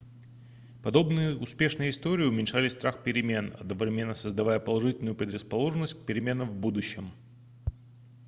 подобные успешные истории уменьшали страх перемен одновременно создавая положительную предрасположенность к переменам в будущем